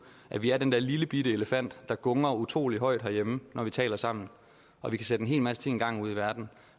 at vi er den der lillebitte elefant der gungrer utrolig højt herhjemme når vi taler sammen og vi kan sætte en hel masse ting i gang ude i verden